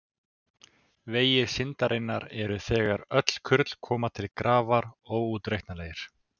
Vegir syndarinnar eru þegar öll kurl koma til grafar óútreiknanlegir.